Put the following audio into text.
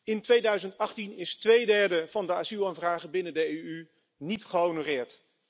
In 2018 is twee derde van de asielaanvragen binnen de EU niet gehonoreerd.